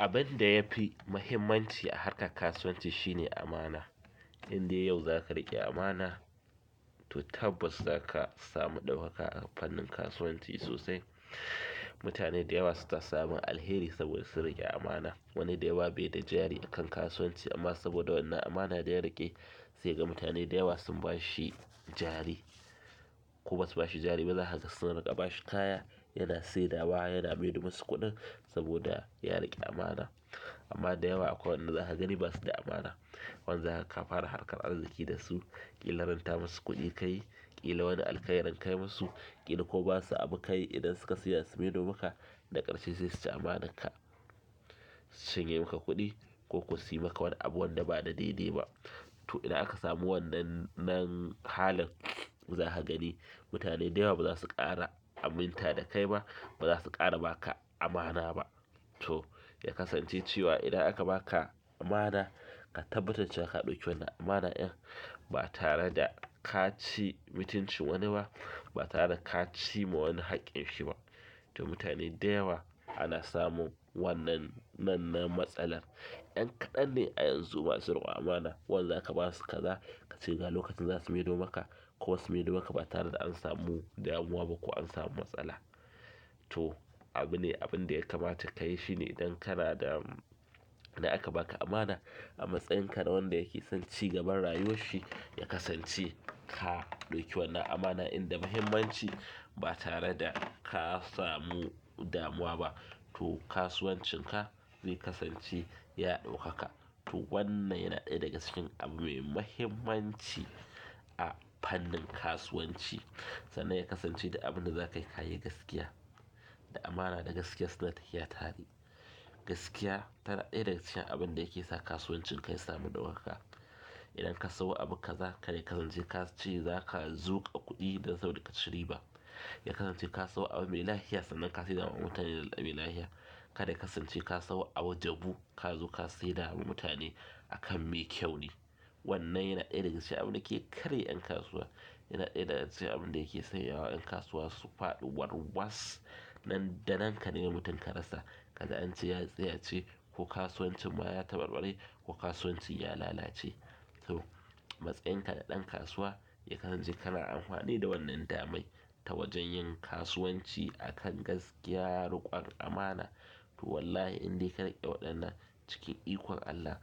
Abin da yafi muhimmanci a harkar kasuwanci shine amana. Inde yau zaka riƙe amana, to tabbas zaka samu ɗaukaka a fannin kasuwanci sosai. Mutane da yawa suna samun alheri saboda sun riƙe amana. Wani da yawa bai da jari a kan kasuwanci amma saboda wannan amana da ya riƙe, sai ga mutane da yawa sun ba shi jari. Ko basu ba shi jari ba, zaka ga suna raƙaba shi kaya, yana saida wa yana mai di masu kuɗin saboda ya riƙe amana. Amma da yawa akwai waɗanda zaka gani basu da amana. Wanzu haka ka fara harkar arziki da su, ƙila ran ta masu kuɗi ka yi, ƙila wani alkhairi ka yi masu, ƙila ko ba su abu ka yi idan suka saida su maido maka. Daga ƙarshe sai suci amanar ka su cinye maka kuɗi ko ko suyi maka wani abu wanda ba na daidai ba to idan aka samu wannan halin zaka gani mutane da yawa ba zasu ƙara aminta da kai ba ba zasu ƙara baka amana ba to, ya kasance cewa idan aka ba ka amana, ka tabbatar cewa ka ɗauki wannan amana in ba tare da ka ci mutunci wani ba, ba tare da ka ci ma wani haƙƙin shi ba. To, mutane da yawa ana samun wannan matsalar. Ƴan kaɗan ne a yanzu masu riƙon amana. Wanda zaka basu kaza kace ga lokacin da zasu maido maka kuma su maido maka ba tare da an samu damuwa ba ko an samu matsala to abu ne abinda ya kamata kayi shine idan kana da idan aka ba ka amana a matsayinka na wanda yake son ci gaban rayuwar shi, ya kasance ka ɗauki wannan amana inda muhimmanci ba tare da ka samu damuwa ba. To, kasuwancin ka zai kasance ya ɗaukaka. To, wannan yana ɗaya daga cikin abu mai muhimmanci a fannin kasuwanci. Sanan ya kasance duk abin da za ka yi kayi gaskiya, da amana da gaskiya suna tafiya tare. Gaskiya tana ɗaya daga cikin abin da yake sa kasuwancin ka ya samu ɗaukaka. Idan ka sayo abu kaza, kai kaje kace za ka zuƙa kuɗi dan saboda ka ci riba. Ya kasance ka sayo abu mai lahia, sannan ka sayar wa mutane da abin lahia. Ka dai kasance ka sayo a jabu, ka zo ka saida wa mutane a kan me kyau ne. Wannan yana ɗaya daga cikin abin da ke karya ƴan kasuwa. Yana ɗaya daga cikin abin da yake sanyawa ƴan kasuwa su faɗi warwas. Nan da nan ka nema mutum ka rasa. Ka ji ance ya tsiyace ko kasuwancin ma ya taɓarɓare ko kasuwanci ya lalace. To, matsayinka na ɗan kasuwa ya kasance kana amfani da wannan damai ta wajen yin kasuwanci a kan gaskiya, riƙon amana. To, wallahi inda ka riƙe waɗannan cikin ikon Allah,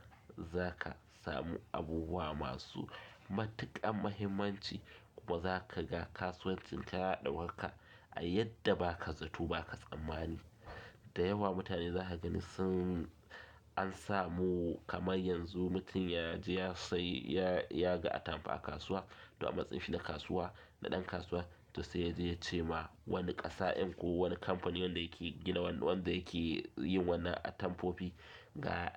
za ka samu abubuwa masu matuƙar muhimmanci kuma za ka ga kasuwancin ka ya ɗaukaka a yadda ba ka zato ba ka tsammani. Da yawa mutane zaka gani sunan samu kamar yanzu mutum yaje ya sayi, ya ga atamfa a kasuwa to, a matsayin shi na kasuwa na ɗan kasuwa, to sai ya je ya ce ma wani ƙasa'in ko wani kamfani wanda yake gina wannan, wanda yake yin wannan atamfofi, ga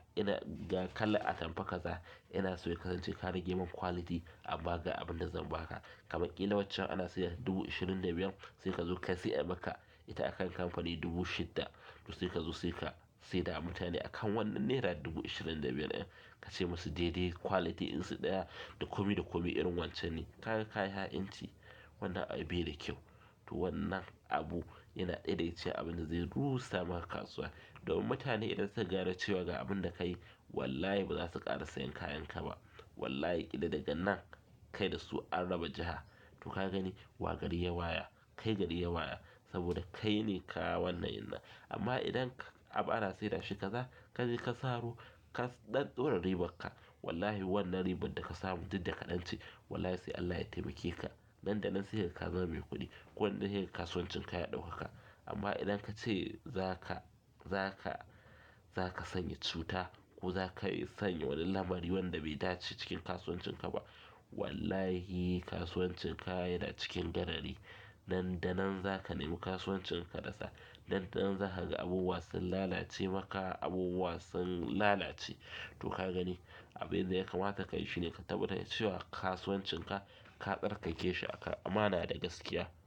kalar atamfa kaza ina so ya kasance ka rage mani quality amma ga abin da zan baka, kamar ƙila waccan ana saida ta dubu ishirin da biyar sai kazo kai sai ayi maka akan ita akan kamfani dubu shida to sai ka zo sai ka saida wa mutane a kan wannan naira dubu ishirin da biyar in ka ce masa, "Daidai quality in su ɗaya, da komi da komi irin wancan ne." Ka ga kayi ha'inci wannan abin bai da kyau. To wannan abu yana ɗaya daga cikin abin da zai rusa ma kasuwa. Domin idan mutane suka gane cewa ga abinda kayi wallahi ba zasu ƙara sayen kayan ka ba wallahi ƙila daga nan kai da su an raba jiha. To ka gani, wa gari yawa ya? Kai gari yawa ya saboda kai ne ka wannan innan amma idan abu ana sayar da shi kaza, kaje ka saro ka ɗan ɗora riban ka, wallahi wannan ribar da ka samu tin duk da kaɗance, wallahi sai Allah ya taimake ka. Nan da nan sai kaga ka zama me kuɗi. Wannan sai kaga kasuwancin ka ya daukaka, amma idan kace zaka, zaka zaka sanya cuta ko zaka sanya wani lamari wanda be dace cikin kasuwancin ka ba to wallahi kasuwancin ka yanacikin garari nan da nan za ka nema kasuwancin ka rasa. Nan da nan za ka ga abubuwa sun lalace maka, abubuwa sun lalace. To ka gani, abin da ya kamata ka yi shi ne ka tabbatar cewa kasuwancin ka, ka tsarkake shi a kan amana da gaskiya.